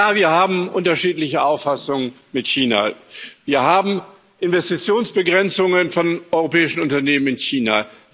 Ja, wir haben unterschiedliche Auffassungen mit China. Wir haben Investitionsbegrenzungen von europäischen Unternehmen in China.